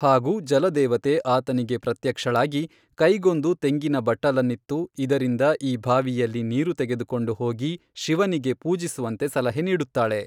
ಹಾಗೂ ಜಲದೇವತೆ ಆತನಿಗೆ ಪ್ರತ್ಯಕ್ಷಳಾಗಿ ಕೈಗೊಂದು ತೆಂಗಿನ ಬಟ್ಟಲನ್ನಿತ್ತು ಇದರಿಂದ ಈ ಭಾವಿಯಲ್ಲಿ ನೀರು ತೆಗೆದುಕೊಂಡು ಹೋಗಿ ಶಿವನಿಗೆ ಪೂಜಿಸುವಂತೆ ಸಲಹೆ ನೀಡುತ್ತಾಳೆ.